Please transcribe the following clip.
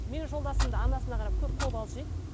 менің жолдасым да анасына қарап көп қобалжиды